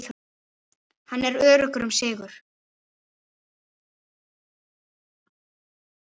Hann er öruggur um sigur.